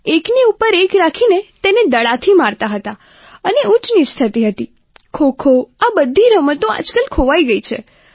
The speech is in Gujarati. એકની ઉપર એક રાખીને તેને દડાથી મારતા હતા અને ઊંચનીચ થતી હતી ખોખો આ બધી રમતો આજકાલ ખોવાઈ ગઈ છે